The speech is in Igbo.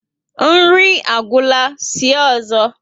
Nri agwura, sie ọzọ